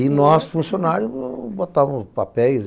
E nós, funcionários, botávamos papéis e